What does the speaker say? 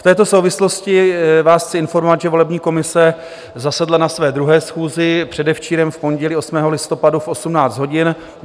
V této souvislosti vás chci informovat, že volební komise zasedla na své druhé schůzi předevčírem, v pondělí 8. listopadu v 18 hodin.